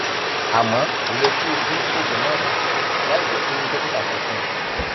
àmọ kò yẹ kí o dín oògùn náà kù láìjẹ pé dókítà sọ fún ọ